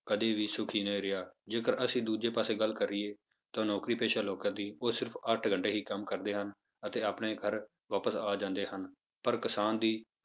ਕਦੇ ਵੀ ਸੁੱਖੀ ਨਹੀਂ ਰਿਹਾ ਜੇਕਰ ਅਸੀਂ ਦੂਜੇ ਪਾਸੇ ਗੱਲ ਕਰੀਏ ਤਾਂ ਨੌਕਰੀ ਪੇਸ਼ਾ ਲੋਕਾਂ ਦੀ ਉਹ ਸਿਰਫ਼ ਅੱਠ ਘੰਟੇ ਹੀ ਕੰਮ ਕਰਦੇ ਹਨ, ਅਤੇ ਆਪਣੇ ਘਰ ਵਾਪਸ ਆ ਜਾਂਦੇ ਹਨ, ਪਰ ਕਿਸਾਨ ਦੀ